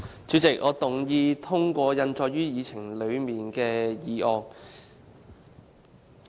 主席，我動議通過印載於議程內的議案。